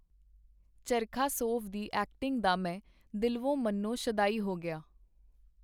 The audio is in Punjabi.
ਚਰਖਾਸੋਵ ਦੀ ਐਕਟਿੰਗ ਦਾ ਮੈਂ ਦਿਲਵੋਂ-ਮਨੋਂ ਸ਼ੈਦਾਈ ਹੋ ਗਿਆ.